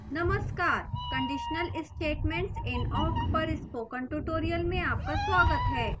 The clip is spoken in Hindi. नमस्कार conditional statements in awk पर spoken tutorial में आपका स्वागत है